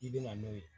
I bɛna n'o ye